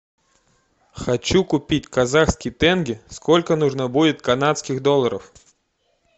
хочу купить казахский тенге сколько нужно будет канадских долларов